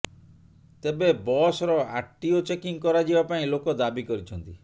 ତେବେ ବସ୍ର RTO checking କରାଯିବା ପାଇଁ ଲୋକ ଦାବି କରିଛନ୍ତି